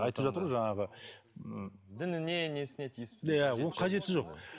айтып жатыр ғой жаңағы дініне несіне тиісіп ол қажеті жоқ